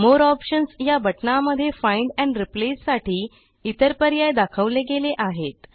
More options या बटणामध्ये find and replace साठी इतर पर्याय दाखवले गेले आहेत